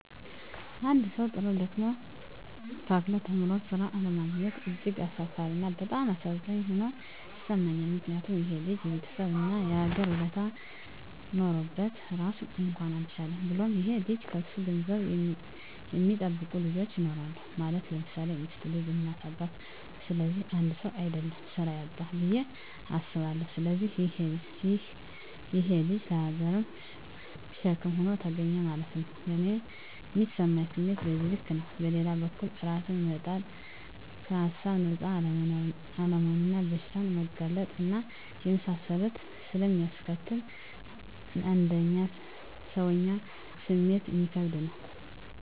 አንድ ሠዉ, ጥሮ: ደክሞ :ታክቶ ተምሮ ስራ አለማግኘት እጅግ አሳፋሪ እና በጣም አሳዛኝ ሆኖ ይሠማኛል ምክንያቱም :ይሄ ልጅ የቤተሠብ እና የሀገር ውለታ ኖሮበት ራሱን እንኳን አልቻለም። ብሎም ይሄ ልጅ ከሱ ገንዘብ የሚጠብቁ ልጆች ይኖራሉ ማለት _ለምሳሌ ሚስት: ልጅ: እናት :አባት ስለዚህ 1ሰው: አደለም ስራ ያጣዉ ብየ አስባለሁ። ስለዚህ ይሄ_ ልጅ ለሀገርም ሸክም ሆኖ ተገኘ ማለት ነዉ። ለኔ ሚሰማኝ ስሜት በዚህ ልክ ነው። በሌላ በኩልም እራስን መጣል ከሀሳብ ነፃ አለመሆንና ለበሽታ መጋለጥ እና የመሳሰሉትን ስለሚያስከትል: እንደ ሰወኛ ስሜቱ እሚከብድ ነው